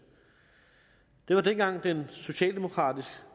det var dengang den socialdemokratisk